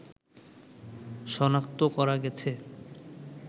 শনাক্ত করা গেছে